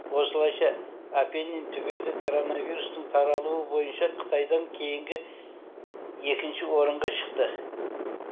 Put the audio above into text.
осылайша апеннин түбегі коронавирустың таралуы бойынша қытайдан кейінгі екінші орынға шықты